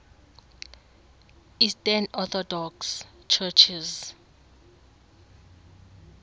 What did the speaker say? eastern orthodox churches